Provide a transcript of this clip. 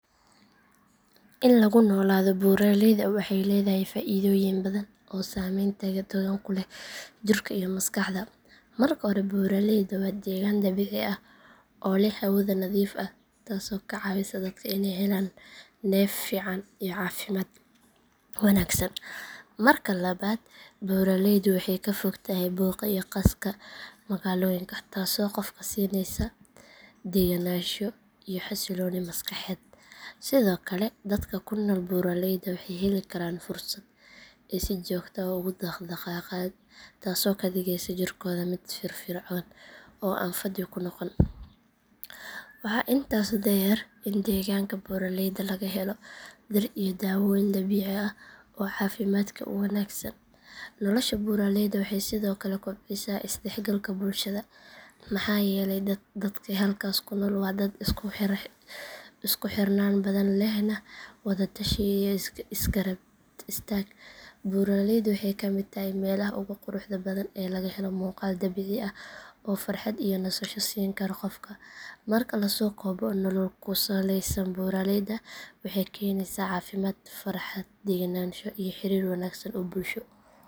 In lagu noolaado buuraleyda waxay leedahay faa’iidooyin badan oo saameyn togan ku leh jirka iyo maskaxda. Marka hore buuraleydu waa deegaan dabiici ah oo leh hawada nadiif ah taasoo ka caawisa dadka inay helaan neef fiican iyo caafimaad wanaagsan. Marka labaad buuraleydu waxay ka fog tahay buuqa iyo qaska magaalooyinka taasoo qofka siinaysa degganaansho iyo xasilooni maskaxeed. Sidoo kale dadka ku nool buuraleyda waxay heli karaan fursad ay si joogto ah ugu dhaq-dhaqaaqaan taasoo ka dhigaysa jirkooda mid firfircoon oo aan fadhi ku noqon. Waxaa intaas dheer in deegaanka buuraleyda laga helo dhir iyo daawooyin dabiici ah oo caafimaadka u wanaagsan. Nolosha buuraleyda waxay sidoo kale kobcisaa is dhexgalka bulshada maxaa yeelay dadka halkaas ku nool waa dad isku xirnaan badan lehna wada tashi iyo is garab istaag. Buuraleydu waxay ka mid tahay meelaha ugu quruxda badan ee laga helo muuqaal dabiici ah oo farxad iyo nasasho siin kara qofka. Marka la soo koobo nolol ku saleysan buuraleyda waxay keenaysaa caafimaad, farxad, degganaansho iyo xiriir wanaagsan oo bulsho.